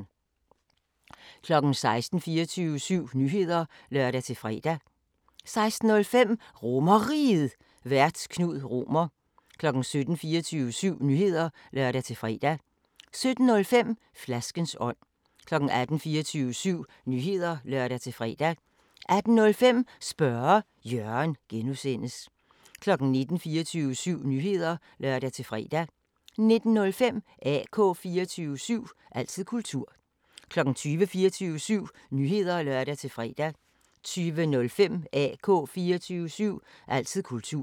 16:00: 24syv Nyheder (lør-fre) 16:05: RomerRiget, Vært: Knud Romer 17:00: 24syv Nyheder (lør-fre) 17:05: Flaskens ånd 18:00: 24syv Nyheder (lør-fre) 18:05: Spørge Jørgen (G) 19:00: 24syv Nyheder (lør-fre) 19:05: AK 24syv – altid kultur 20:00: 24syv Nyheder (lør-fre) 20:05: AK 24syv – altid kultur